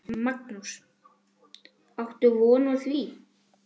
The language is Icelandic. Magnús: Áttu von á því?